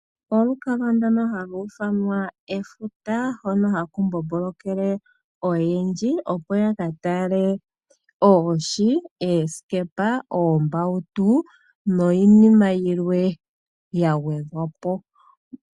Olukalwa ndono halu ithanwa efuta hono haku mbombolokele oyendji, opo yakatale oohi, oosikepa, oombautu niinima yilwe gagwedhwapo.